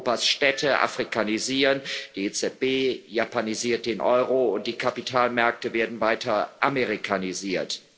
Europas Städte afrikanisieren, die EZB japanisiert den Euro, und die Kapitalmärkte werden weiter amerikanisiert.